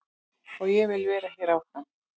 Og ég vil vera hér áfram.